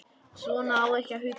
Svona á ekki að hugsa.